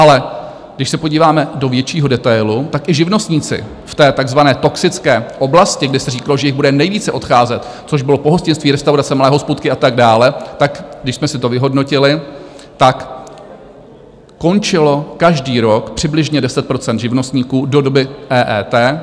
Ale když se podíváme do většího detailu, tak i živnostníci v té takzvané toxické oblasti, kde se říkalo, že jich bude nejvíce odcházet, což bylo pohostinství, restaurace, malé hospůdky a tak dále, tak když jsme si to vyhodnotili, tak končilo každý rok přibližně 10 % živnostníků do doby EET.